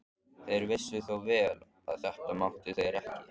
Þeir vissu þó vel að þetta máttu þeir ekki.